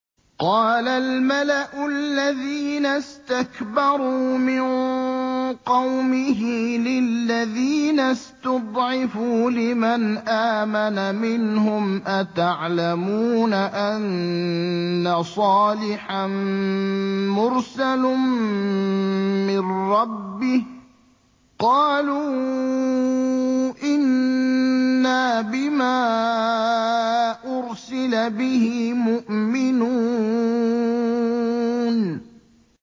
قَالَ الْمَلَأُ الَّذِينَ اسْتَكْبَرُوا مِن قَوْمِهِ لِلَّذِينَ اسْتُضْعِفُوا لِمَنْ آمَنَ مِنْهُمْ أَتَعْلَمُونَ أَنَّ صَالِحًا مُّرْسَلٌ مِّن رَّبِّهِ ۚ قَالُوا إِنَّا بِمَا أُرْسِلَ بِهِ مُؤْمِنُونَ